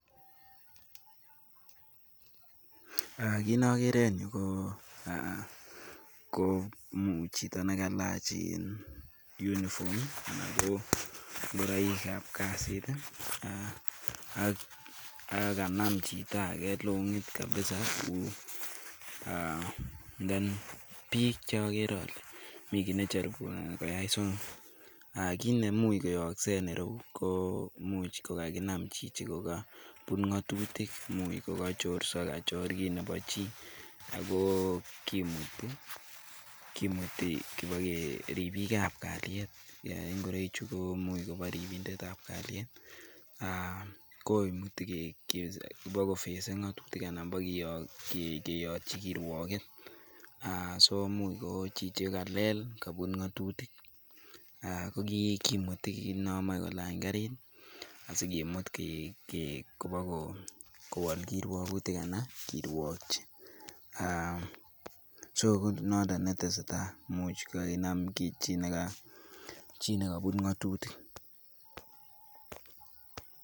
Kii nokere en yu ko chito nekailach uniform anan ingoroik ab kasiit ii ak kanam chito age long'it kabiza then biik cheogere ole mi kiit nechoribunoni koyai so kii neimuch koyooksei en yu ko imuch ko kakinam chichi kokobut ng'atutik, imuch kogachorso kachor kiit nebo chii ako kimuti, kimuti ribiik ab kalyet, ngoroichu imuch ko bo ribindet ab kalyet ak koimuti kobakofesen ng'otutik anan bokeyotchi kirwoget, aah imuch ko chichi kalel, kobut ng'atutik, ko kimuti inon moche kolany kariit asikimut kobokowal kirwogutik anan kirwokyi, so noton netesetai, imuch kakinam chii nekabut ng'atutik.